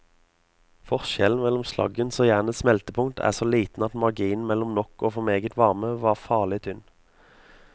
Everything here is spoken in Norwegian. Forskjellen mellom slaggens og jernets smeltepunkt er så liten at marginen mellom nok og for meget varme var farlig tynn.